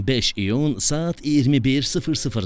15 iyun saat 21:00-da.